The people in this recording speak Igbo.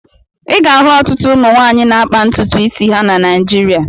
Ị ga-ahụ ọtụtụ ụmụ nwaanyị na-akpa ntutu isi ha na Naịjịrịa.